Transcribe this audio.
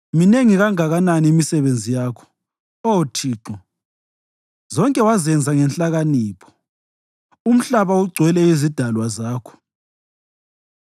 Minengi kanganani imisebenzi yakho, Oh Thixo! Zonke wazenza ngenhlakanipho; umhlaba ugcwele izidalwa zakho.